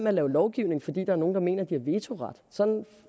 at lave lovgivning fordi der er nogle der mener at de har vetoret sådan